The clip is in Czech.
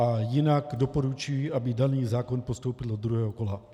A jinak doporučuji, aby daný zákon postoupil do druhého kola.